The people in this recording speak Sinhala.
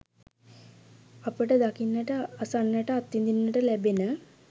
අපට දකින්නට, අසන්නට, අත්විඳින්නට ලැබෙන